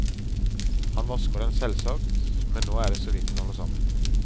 Han vasker den selvsagt, men nå er det såvidt den holder sammen.